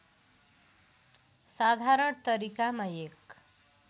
साधारण तरिकामा एक